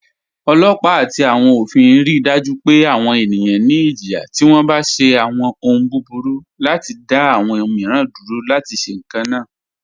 Ọlọpa ati awọn ofin rí daju pẹ̀ awọn ènìyàn ní ìjìyà tí wọ́n bá ṣe awọn òhùn búburú, láti dá awọn míìran dúró láti ṣe kanna.